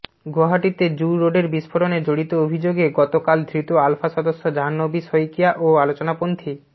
গুয়াহাটিতে zoo রোডের বিস্ফোরণে জড়িত অভিযোগে গত কাল ধৃত আলফা সদস্য জাহ্নবী শইকিয়া ও আলোচনাপন্থী